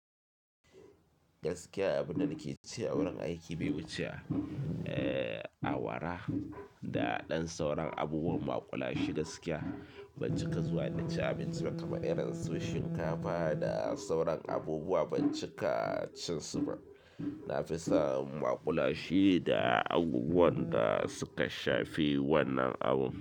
Gaskiya abunda nake ci wurin aiki bai wuce awara da ɗan sauran abubuwan maƙulashe gaskiya ban cika zuwa na ci abinci ba kamar irin su shinkafa da sauran abubuwa ban cika cin su ba. Nafisa maƙulashe da abubuwan da suka shafi wannan abu.